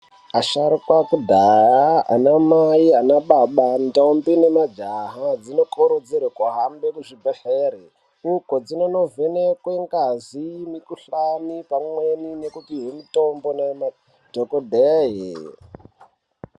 Asharuka ekudhaya ana Mai ana baba, ndombi nemajaha dzinokurudzirwe kuhambe kuzvibhedhlere uko dzinondovhenekwe ngazi mikuhlani nekupihwe mitombo nemadhokodheya.